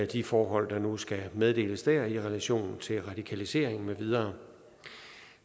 de forhold der nu skal meddeles der i relation til radikalisering med videre